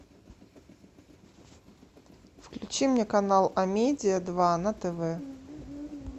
включи мне канал амедия два на тв